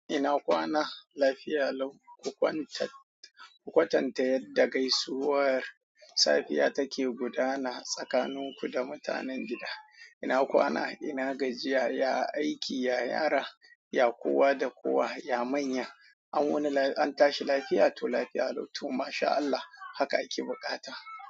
Ina kwana lafiya lau, ku kwatanta yadda gaisuwar safiya take gudana tsakaninku da mutanen gida. Ina kwana, ina gajiya, ya aiki, ya yara, ya kowa da kowa, ya manya. An wuni an tashi lafiya to lafiya lau to masha Allah haka ake buƙata.